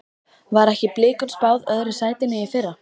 Var ekki Blikum spáð öðru sætinu í fyrra?